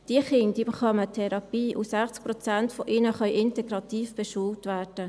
Diese Kinder bekommen eine Therapie, und 60 Prozent von ihnen können integrativ beschult werden.